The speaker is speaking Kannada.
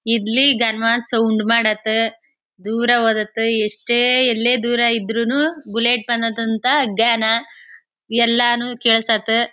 ಇಲ್ಲಿ ಗಾಂವಾಶ ಉಂಡ್ ಮಾಡತ್ತ. ದೂರ ಹೋದತ್ತ ಎಷ್ಟೇ ಎಲ್ಲೇ ದೂರ ಇದ್ರುನು ಬುಲೆಟ್ ಪಣಾತಂತ ಜ್ಞಾನ ಎಲ್ಲಾನು ಕೆಲ್ಸತ್ತೆ.